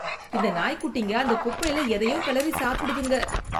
இந்த நாய் குட்டிங்க அந்த குப்பைல எதையோ கிளறி சாப்பிடுதுங்க.